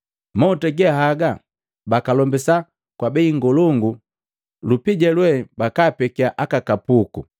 Mahuta ge haga bakalombisa kwa bei ngolongo, lupija lwe bakaapekia aka kapuku.”